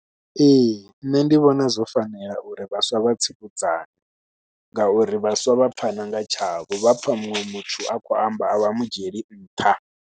Ee nṋe ndi vhona zwo fanela uri vhaswa vha tsivhudzane ngauri vhaswa vha pfhana nga tshavho, vha pfha muṅwe muthu a khou amba a vha mu dzhieli nṱha.